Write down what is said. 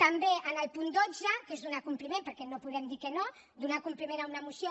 també en el punt dotze que és donar compliment perquè no podem dir que no donar compliment a una moció